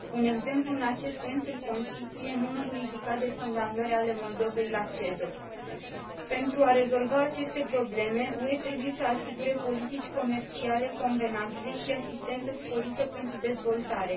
Un exemplu în acest sens îl constituie numărul ridicat de condamnări ale Moldovei la CEDO. Pentru a rezolva aceste probleme, UE trebuie să asigure politici comerciale convenabile și asistență sporită pentru dezvoltare.